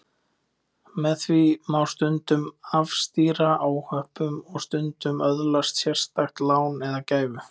Með því má stundum afstýra óhöppum og stundum öðlast sérstakt lán eða gæfu.